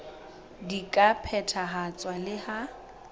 di ka phethahatswa le ha